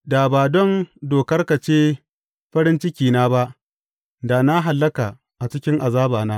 Da ba don dokarka ce farin cikina ba, da na hallaka a cikin azabana.